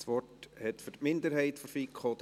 Das Wort hat für die Minderheit Daniel Wyrsch.